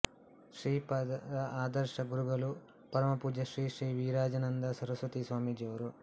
ಶ್ರೀಪಾದರ ಆದರ್ಶ ಗುರುಗಳುಪರಮ ಪೂಜ್ಯ ಶ್ರೀ ಶ್ರೀ ವಿರಜಾನಂದ ಸರಸ್ವತಿಸ್ವಾಮೀಜಿಯವರು